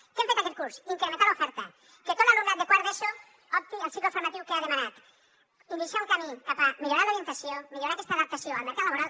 què hem fet aquest curs incrementar l’oferta que tot l’alumnat de quart d’eso opti al cicle formatiu que ha demanat iniciar un camí cap a millorar l’orientació millorar aquesta adaptació al mercat laboral